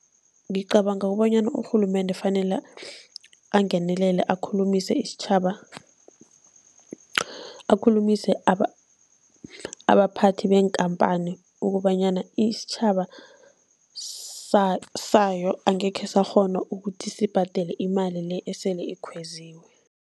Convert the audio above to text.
Ngicabanga ukubonyana urhulumende fanele angenelele, akhulumise isitjhaba, akhulumise abaphathi beenkhamphani ukobanyana isitjhaba sayo angekhe sakghona ukuthi sibhadele imali le esele ikhweziwe.